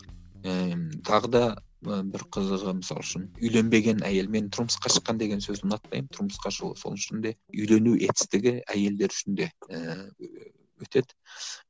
ііі тағы да бір қызығы мысалы үшін үйленбеген әйел мен тұрмысқа шыққан деген сөзі ұнатпаймын тұрмысқа шығу сол үшін де үйлену етістігі әйелдер үшін де ііі өтеді